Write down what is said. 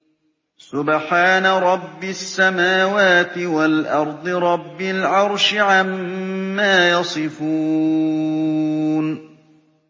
سُبْحَانَ رَبِّ السَّمَاوَاتِ وَالْأَرْضِ رَبِّ الْعَرْشِ عَمَّا يَصِفُونَ